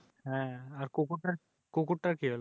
হ্যাঁ আর কুকুরটার কুকুরটার কি হলো?